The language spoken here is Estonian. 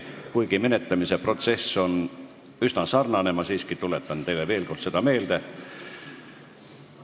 Kuigi menetlemise protsess on üsna sarnane eelmise menetlusega, tuletan ma siiski teile veel kord seda korda meelde.